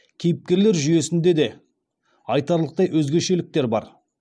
кейіпкерлер жүйесінде де айтарлықтай өзгешеліктер бар